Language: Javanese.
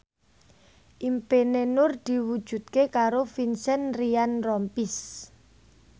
impine Nur diwujudke karo Vincent Ryan Rompies